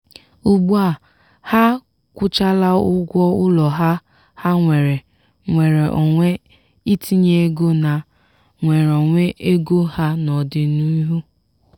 ugbu a ha akwụchala ụgwọ ụlọ ha ha nwere nnwere onwe itinye ego na nnwere onwe ego ha n'ọdịnihu.